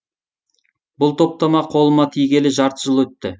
бұл топтама қолыма тигелі жарты жыл өтті